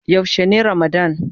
Yaushe ne ramadann.?